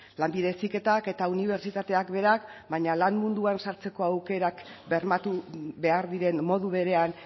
lanbide heziketak eta unibertsitateak berak baina lan munduan sartzeko aukerak bermatu behar diren modu berean